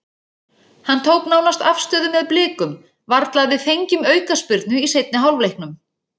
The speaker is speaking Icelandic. Hann tók nánast afstöðu með Blikum, varla að við fengjum aukaspyrnu í seinni hálfleiknum.